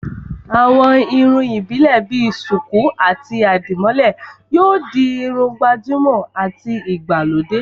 àwọn irun ìbílè bi sùkú àti àdìmólẹ̀ yóò di Irun gbàjúmọ̀ àti ìgbàlódé